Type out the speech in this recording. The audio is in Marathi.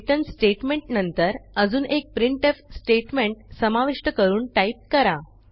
रिटर्न स्टेटमेंट नंतर अजून एक प्रिंटफ स्टेटमेंट समाविष्ट करून टाईप करा